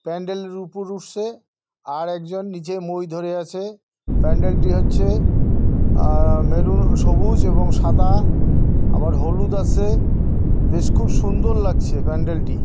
প্যান্ডেলের উপরে উঠছে | আর একজন নিচে মই ধরে আছে | প্যান্ডেলটি হচ্ছে আহ মেরুন সবুজ এবং সাদা আবার হলুদ আছে | বেশ খুব সুন্দর লাগছে প্যান্ডেলটি ।